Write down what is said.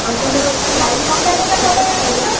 ଆଉ ତମର ହଉ ମକା ଦିଟା ମୋ ପାଇଁ ଆଣିବୁତ।